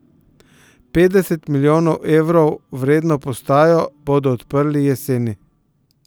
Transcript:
Petdeset milijonov evrov vredno postajo bodo odprli jeseni.